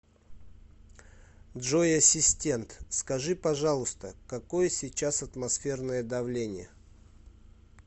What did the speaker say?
джой ассистент скажи пожалуйста какое сейчас атмосферное давление